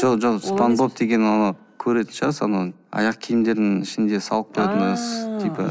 жоқ спанбоп деген ол көретін шығарсыз анау аяқкиімдердің ішінде салып